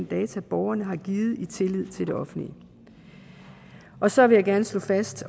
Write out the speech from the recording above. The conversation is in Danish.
data borgerne har givet i tillid til det offentlige og så vil jeg gerne slå fast